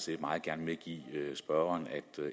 vil meget gerne medgive spørgeren at